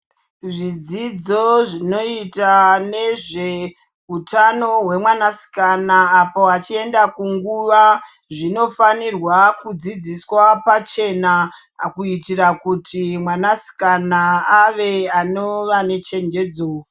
Zvidzidzo zvinoita nezve utano hwemwanasikana apo vachienda kunguva zvinofanirwa kudzidziswa pachena kuitira kuti mwanasikana ave anova nechenjedzo.